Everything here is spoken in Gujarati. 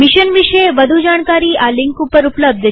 મિશન વિષે વધુ જાણકારી આ લિંક ઉપર ઉપલબ્ધ છે